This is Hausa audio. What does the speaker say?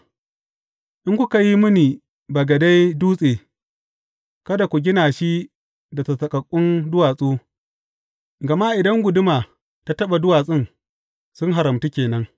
In kuka yi mini bagade dutse, kada ku gina shi da sassaƙaƙƙun duwatsu, gama inda guduma ta taɓa duwatsun, sun haramtu ke nan.